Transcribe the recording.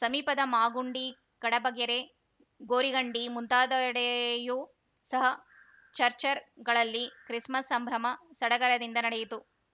ಸಮೀಪದ ಮಾಗುಂಡಿ ಕಡಬಗೆರೆ ಗೋರಿಗಂಡಿ ಮುಂತಾದೆಡೆಯು ಸಹ ಚಚ್‌ರ್‍ಗಳಲ್ಲಿ ಕ್ರಿಸ್‌ಮಸ್‌ ಸಂಭ್ರಮ ಸಡಗರದಿಂದ ನಡೆಯಿತು